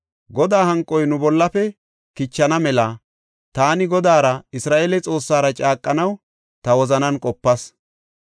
Godaa hanqoy nu bollafe kichana mela taani Godaara, Isra7eele Xoossara caaqanaw ta wozanan qopas.